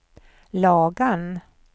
Lagan